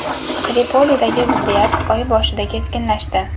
Tripolidagi ziddiyat oy boshida keskinlashdi.